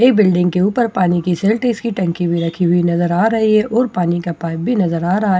एक बिल्डिंग के ऊपर पानी की सेरटीस की टंकी भी रखी नजर आ रही है और पानी का पाइप भी नजर आ रहा है में --